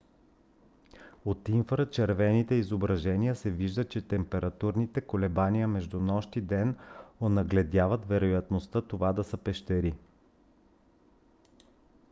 от инфрачервените изображеня се вижда че температурните колебания между нощ и ден онагледяват вероятността това да са пещери